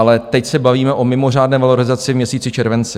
Ale teď se bavíme o mimořádné valorizaci v měsíci červenci.